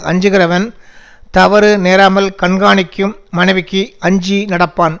அஞ்சுகிறவன் தவறு நேராமல் கண்காணிக்கும் மனைவிக்கு அஞ்சி நடப்பான்